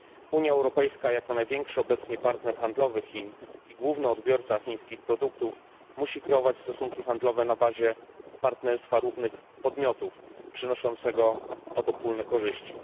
Unia Europejska jako największy obecnie partner handlowy Chin i główny odbiorca chińskich produktów musi kreować stosunki handlowe na bazie partnerstwa równych podmiotów, przynoszącego obopólne korzyści.